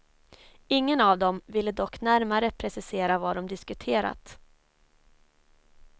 Ingen av dem ville dock närmare precisera vad de diskuterat.